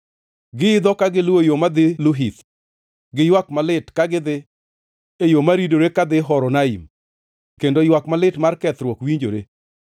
Giidho ka giluwo yo madhi Luhith, gi ywak malit ka gidhi; e yo maridore kadhi Horonaim kendo ywak malit mar kethruok winjore.